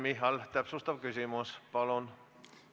Mina ei ole kordagi arvanud, et teie olete naljamees.